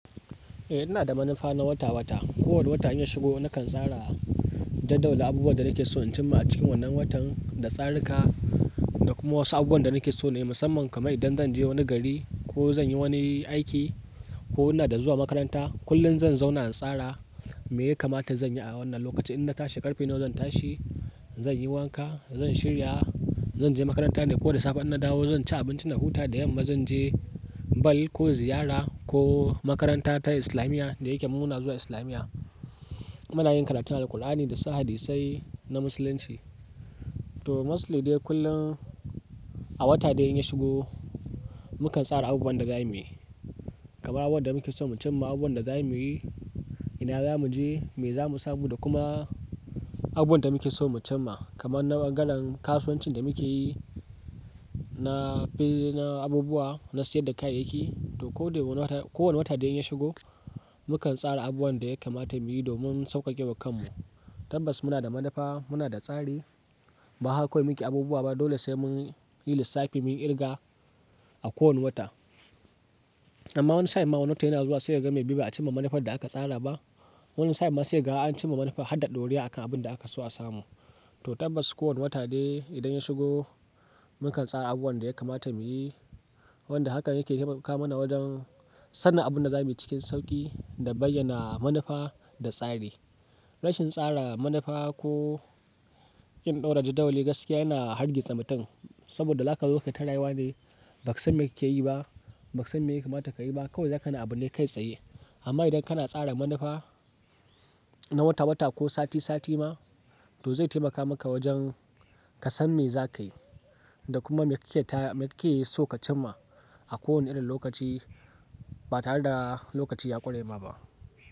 Eh, ina da manufa na wata-wata. Ko wane wata in ya shigo nakan tsara jadawali abubuwan da nake so in cimma a cikin wannan watan da tsarrika da kuma wasu abubuwan da nake so ne musamman kamar idan zan je wani gari ko zan yi wani aiki ko ina da zuwa makaranta. Kullum zan zauna in tsara me ya kamata zan yi a wannan lokaci. In na tashi ƙarfe nawa zan tashi, zan yi wanka, zan shirya, zan je makaranta ne ko da safe an na dawo zan ci abinci na huta da yamma zan je ball ko ziyara ko makaranta ta islamiya da yake mununa zuwa islamiya. Muna yin karatun Alqur'ani dasu hadisai na musulunci. To mostly deh kullum a wata dai in ya shigo mu kan tsara abubuwan da za mu yi. Kamar abubuwan da muke so mu cimma, abubuwan da za mu yi, ina za mu je, me za mu samu da kuma abubuwan da muke so mu cimma kamar na bangareb kasuwancin da muke yi na fili na abubuwa, na sayar da kayayyaki to ko wane wata dai in ya shigo mu kan tsara abubuwan da ya kamata mu yi domin sauƙaƙe wa kanmu. Tabbas muna da manufa, muna da tsari ba haka kawai muke abubuwa ba dole sai mun yi lissafi, mun ƙirga a kowane wata. Amma wani sai ma wani watan yana zuwa sai ka ga mai bi ba a cimma manufar da aka tsara ba. Wani sai ma sai ka ga an cimma manufa har da ɗorewa akan abun da aka so a samu. To tabbas ko wane wata dai idan ya shigo mu kan tsara abubuwan da ya kamata mu yi wanda hakan yake taimaka mana wajen sanin abunda za mu yi cikin sauƙi da bayyana manufa da tsari. Rashin tsara manufa ko ƙin ɗora jadawali gaskiya yana hargitsa mutum saboda zakazo kai ta rayuwa ne, bakasan me kake yi ba, bakasan me ya kamata ka yi ba kawai zaka na abune kai tsaye. Amma idan kana tsara manufa na wata-wata ko sati-sati ma to zai taimaka maka wajen ka san me za ka yi da kuma me kike so ka cimma a kowane irin lokaci ba tare da lokaci ya kure ma ba.